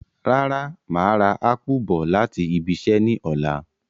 Rárá, màá rà ápù bọ̀ láti ibiṣẹ́ ní ọ̀la